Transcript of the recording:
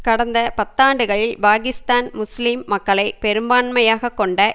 கடந்த பத்தாண்டுகளில் பாகிஸ்தான் முஸ்லிம் மக்களை பெரும்பான்மையாக கொண்ட